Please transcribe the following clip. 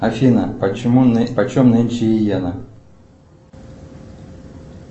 афина почем нынче йена